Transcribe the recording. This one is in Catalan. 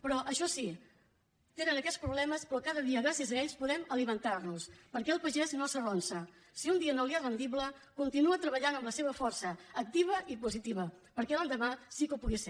però això sí tenen aquests problemes però cada dia gràcies a ells podem alimentar nos perquè el pagès no s’arronsa si un dia no li és rendible continua treballant amb la seva força activa i positiva perquè l’endemà sí que ho pugui ser